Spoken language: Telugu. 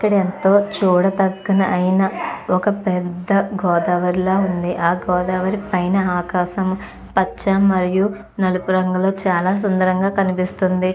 ఇక్కడ ఎంతో చూడదగ్గినది ఐన ఒక పెద్ద గోదావరి లాగా ఉంది ఆ గోదావరి పైన ఆకాశం పచ్చ మరియు నలుపు రంగు లో చాల సుందరంగా కనిపిస్తుంది.